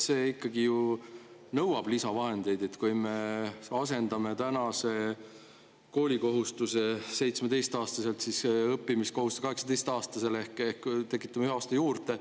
See ikkagi ju nõuab lisavahendeid, kui me asendame tänase koolikohustuse 17. aastani õppimiskohustusega 18. aastani ehk tekitame ühe aasta juurde.